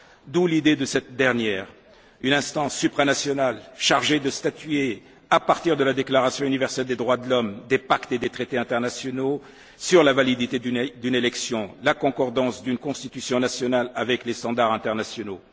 D'où l'idée de cette dernière une instance supranationale chargée de statuer à partir de la Déclaration universelle des droits de l'Homme, des pactes et traités internationaux, sur la validité d'une élection et sur la conformité d'une constitution nationale avec les standards internationaux.